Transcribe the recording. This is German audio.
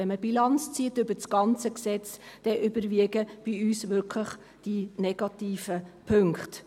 Wenn man die Bilanz zieht über das ganze Gesetz, dann überwiegen für uns wirklich die negativen Punkte.